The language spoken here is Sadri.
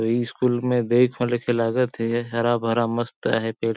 अइ स्कूल में देख हु के लागत है हरा -भरा मस्त आहै पेड़ --